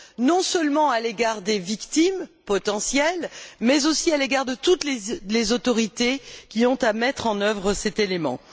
Non seulement à l'égard des victimes potentielles, mais aussi à l'égard de toutes les autorités qui ont à mettre en œuvre cet élément.